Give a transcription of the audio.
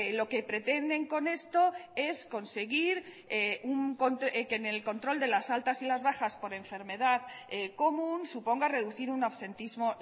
lo que pretenden con esto es conseguir que en el control de las altas y las bajas por enfermedad común suponga reducir un absentismo